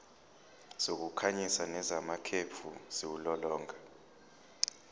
zokukhanyisa nezamakhefu ziwulolonga